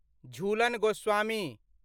Jhulan Goswami